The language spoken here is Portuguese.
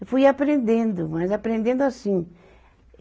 Eu fui aprendendo, mas aprendendo assim.